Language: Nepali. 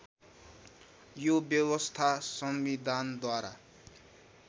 यो व्यवस्था संविधानद्वारा